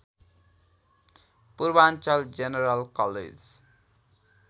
Purvanchal general college